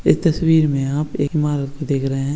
यह तस्वीर में आप एक ईमारत को देख रहे हैं ।